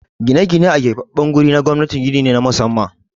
Gine-gine a keɓaɓɓen guri na gwamnati gini ne na musamman.